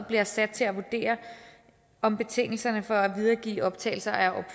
bliver sat til at vurdere om betingelserne for at videregive optagelser er